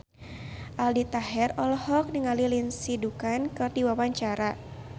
Aldi Taher olohok ningali Lindsay Ducan keur diwawancara